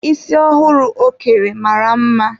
Isi ọhụrụ ọ kere mara mma.